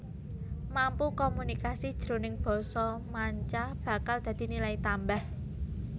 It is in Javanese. Mampu komunikasi jroning basa manca bakal dadi nilai tambah